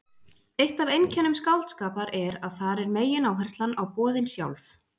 Eitt af einkennum skáldskapar er að þar er megináherslan á boðin sjálf.